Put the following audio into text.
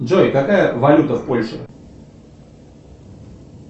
джой какая валюта в польше